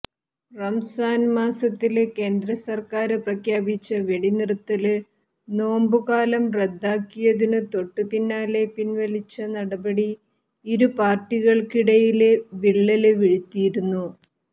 റംസാന് മാസത്തില് കേന്ദ്രസര്ക്കാര് പ്രഖ്യാപിച്ച വെടിനിര്ത്തല് നോമ്ബുകാലം റദ്ദാക്കിയതിനു തൊട്ടുപിന്നാലെ പിന്വലിച്ച നടപടി ഇരുപാര്ട്ടികള്ക്കിടയില് വിള്ളല് വീഴ്ത്തിയിരുന്നു